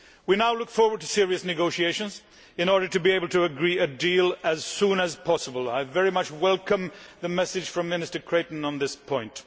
We now look forward to serious negotiations in order to be able to agree a deal as soon as possible, and I very much welcome the message from Minister Creighton on this point.